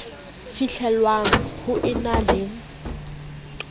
fihlellwang ho e na le